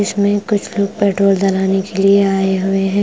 इसमें कुछ लोग पेट्रोल डलाने के लिए आए हुए है।